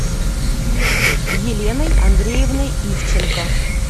еленой андреевной ивченко